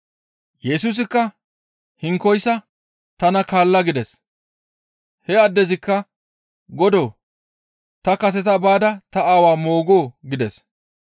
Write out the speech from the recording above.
Yesusikka hinkoyssa, «Tana kaalla» gides. He addezikka «Godoo! Ta kaseta baada ta aawa moogoo?» gides.